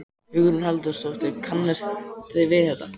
Hugrún Halldórsdóttir: Kannist við þetta?